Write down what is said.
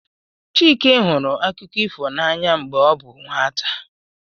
Chike hụrụ akụkọ ifo n'anya mgbe ọ bụ nwata